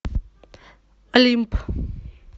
олимп